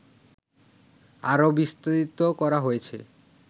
আরো বিস্তৃত করা হয়েছে